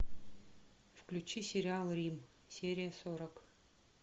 включи сериал рим серия сорок